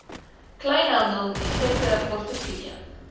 kleinhandel effekte portefeulje